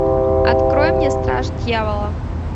открой мне страж дьявола